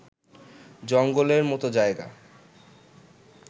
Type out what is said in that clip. জঙ্গলের মতো জায়গা